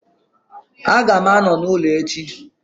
Aga m anọ n'ụlọ echi